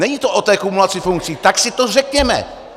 Není to o té kumulaci funkcí, tak si to řekněme.